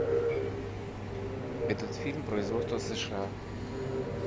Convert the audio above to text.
этот фильм производства сша